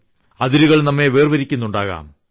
അതിരുകൾ നമ്മെ വേർപിരിക്കുന്നുണ്ടാകാം